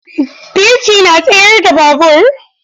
Birki na tsayar da babur.